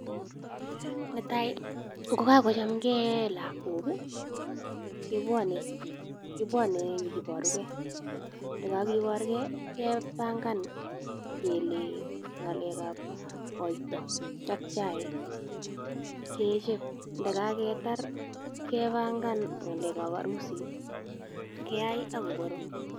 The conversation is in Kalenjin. Netai, ngo kagochamkei lagok, kebwone kebwone nyikiborugei. Ndagagiborgei, gepangan kele ng'alekab koito ak chaik, kecheb. Ndagagetar gepangan ng'alekab harusit keai ak koborok.